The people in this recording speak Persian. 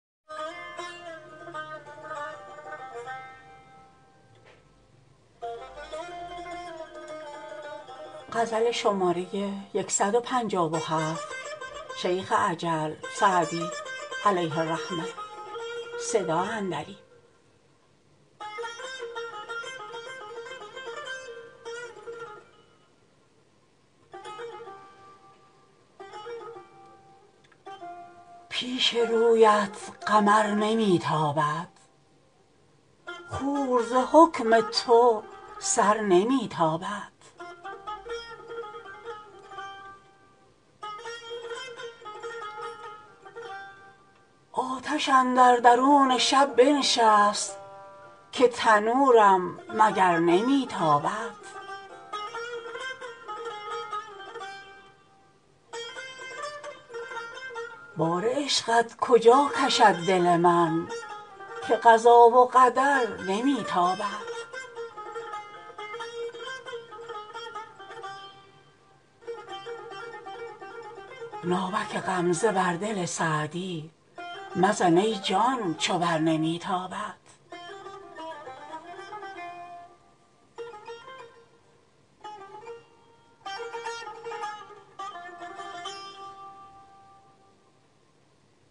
پیش رویت قمر نمی تابد خور ز حکم تو سر نمی تابد نیکویی خوی کن که نرگس مست بر تو با کین و شر نمی تابد دم غنیمت بدان زمان بشناس زهره وقت سحر نمی تابد آتش اندر درون شب بنشست که تنورم مگر نمی تابد بار عشقت کجا کشد دل من که قضا و قدر نمی تابد ناوک غمزه بر دل سعدی مزن ای جان چو بر نمی تابد